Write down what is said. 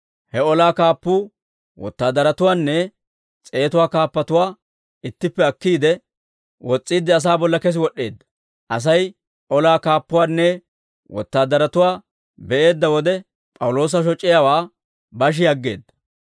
He olaa kaappuu wotaadaratuwaanne s'eetatuwaa kaappatuwaa ittippe akkiide, wos's'iidde asaa bolla kesi wod'd'eedda; Asay olaa kaappuwaanne wotaadaratuwaa be'eedda wode, P'awuloosa shoc'iyaawaa bashi aggeedda.